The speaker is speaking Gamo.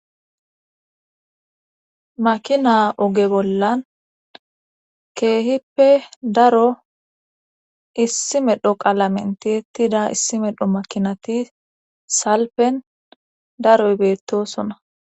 Makina oge bollan keehippe daro issi medho qalamenti ettida issi medho makinati salpen daroy beettosona.